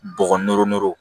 Bɔgɔ noro nɔrɔ